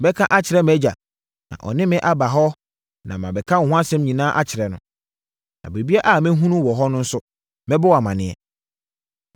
Mɛka akyerɛ mʼagya, na ɔne me aba hɔ na mɛka wo ho asɛm nyinaa akyerɛ no. Na biribiara a mɛhunu wɔ hɔ no nso, mɛbɔ wo amaneɛ.”